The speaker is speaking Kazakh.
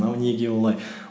мынау неге олай